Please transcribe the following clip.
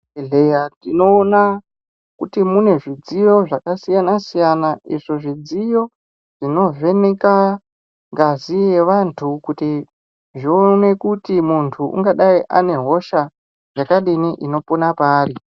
Muzvibhedhleya tinoona kuti mune zvidziyo zvakasiyana siyana, izvo zvidziyo zvino vheneka ngazi yevantu kuti zvione kuti muntu ungadai ane hosha yakadini ino pona paari.